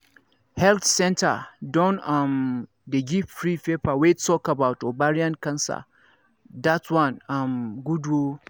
health centre don um dey give free paper wey talk about ovarian cancer that one um good ooo